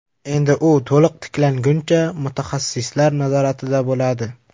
Endi u to‘liq tiklanguncha mutaxassislar nazoratida bo‘ladi.